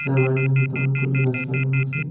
এর বারান্দার মধ্যে অনেকগুলো গাছ লাগানো আছে।